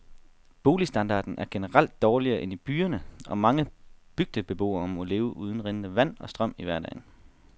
Boligstandarden er generelt dårligere end i byerne, og mange bygdebeboere må leve uden rindende vand og strøm i hverdagen.